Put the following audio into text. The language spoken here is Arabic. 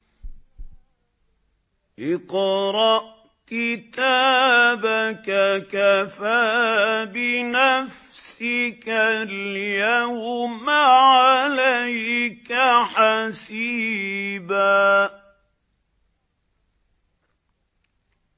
اقْرَأْ كِتَابَكَ كَفَىٰ بِنَفْسِكَ الْيَوْمَ عَلَيْكَ حَسِيبًا